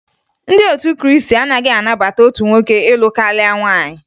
Ndị otu Krịịstị anaghị anabata otu nwoke ịlụ karịa nwaanyị